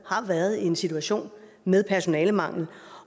har været i en situation med personalemangel